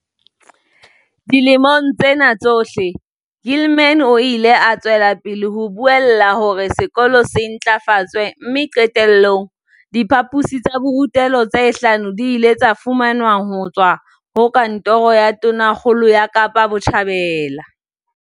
Ka dilemo tsena tsohle, Gilman o ile a tswela pele ho buella hore sekolo se ntlafatswe mme qete llong, diphaposi tsa borutelo tse hlano di ile tsa fumanwa ho tswa ho Kantoro ya Tonakgolo ya Kapa Botjhabela.